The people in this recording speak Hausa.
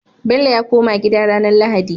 Bello ya koma gida ranar lahadi